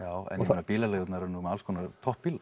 meina bílaleigurnar eru nú með alls konar